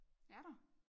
Er der?